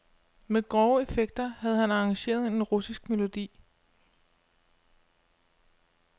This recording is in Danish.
Med grove effekter havde han arrangeret en russisk melodi.